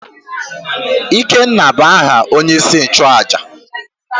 ikena bu aha onye-isi-nchu-àjà